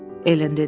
Ellen dedi.